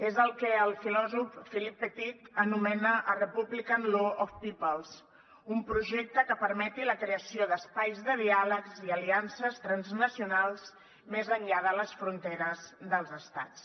és el que el filòsof philip pettit anomena a republican law of peoplespermeti la creació d’espais de diàlegs i aliances transnacionals més enllà de les fronteres dels estats